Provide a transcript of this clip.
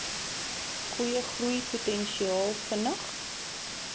goeie groeipotensiaal vinnig